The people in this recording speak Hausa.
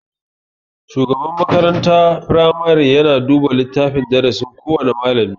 Shugaban makarantar firamare yana duba littafin darasin kowana malami.